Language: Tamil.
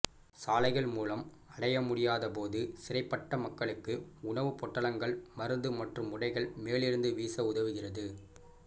சாலைகள் மூலம் அடையமுடியாதபோது சிறைபட்ட மக்களுக்கு உணவு பொட்டலங்கள் மருந்து மற்றும் உடைகள் மேலிருந்து வீச உதவுகிறது